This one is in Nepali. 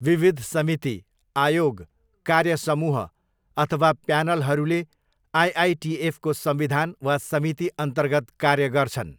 विविध समिति, आयोग, कार्य समूह अथवा प्यानलहरूले आइआइटिएफको संविधान वा समितिअन्तर्गत कार्य गर्छन्।